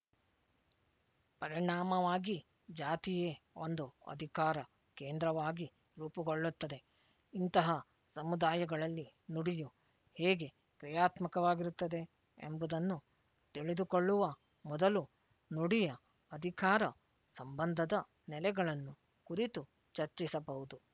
ಪರಿಣಾಮವಾಗಿ ಜಾತಿಯೇ ಒಂದು ಅಧಿಕಾರ ಕೇಂದ್ರವಾಗಿ ರೂಪುಗೊಳ್ಳುತ್ತದೆ ಇಂತಹ ಸಮುದಾಯಗಳಲ್ಲಿ ನುಡಿಯು ಹೇಗೆ ಕ್ರಿಯಾತ್ಮಕವಾಗಿರುತ್ತದೆ ಎಂಬುದನ್ನು ತಿಳಿದುಕೊಳ್ಳುವ ಮೊದಲು ನುಡಿಯ ಅಧಿಕಾರ ಸಂಬಂಧದ ನೆಲೆಗಳನ್ನು ಕುರಿತು ಚರ್ಚಿಸಬಹುದು